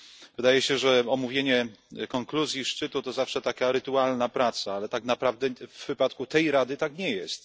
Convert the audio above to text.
Wydaje się, że omówienie konkluzji szczytu to zawsze taka rytualna praca, ale tak naprawdę w wypadku tej Rady tak nie jest.